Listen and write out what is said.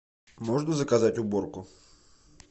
можно заказать уборку